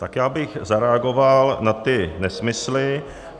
Tak já bych zareagoval na ty nesmysly.